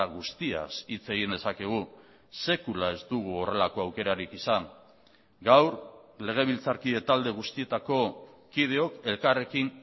guztiaz hitz egin dezakegu sekula ez dugu horrelako aukerarik izan gaur legebiltzarkide talde guztietako kideok elkarrekin